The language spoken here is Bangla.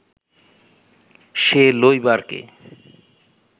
সে লইবার কে